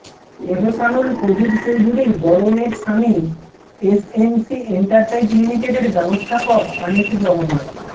এহসানুল কবির চৌধুরীর বড় মেয়ের স্বামী এসএমসি এন্টারপ্রাইজ লিমিটেডের ব্যবস্থাপক আনিসুর রহমান